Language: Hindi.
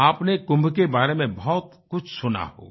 आपने कुंभ के बारे में बहुत कुछ सुना होगा